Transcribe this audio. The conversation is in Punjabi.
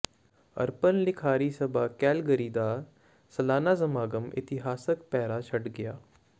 ਅਰਪਨ ਲਿਖਾਰੀ ਸਭਾ ਕੈਲਗਰੀ ਦਾ ਸਾਲਾਨਾ ਸਮਾਗਮ ਇਤਿਹਾਸਕ ਪੈੜਾਂ ਛੱਡ ਗਿਆ